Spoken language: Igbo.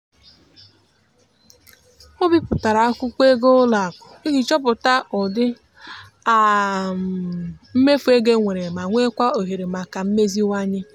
o bipụtara akwụkwọ ego ụlọakụ iji chọpụta ụdị mmefu ego e nwere ma nwekwaa ohere maka mmeziwanye.